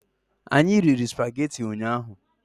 Anyị riri spagetị ụnyaahụ